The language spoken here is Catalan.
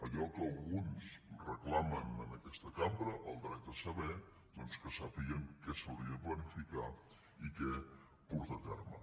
allò que alguns reclamen en aquesta cambra el dret a saber doncs que sàpiguen què s’hauria de planificar i què portar a terme